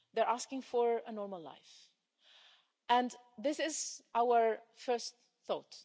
They're asking for a normal life, and this is our first thought